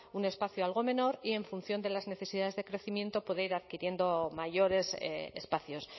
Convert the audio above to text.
un espacio algo menor y en función de las necesidades de crecimiento poder ir adquiriendo mayores espacios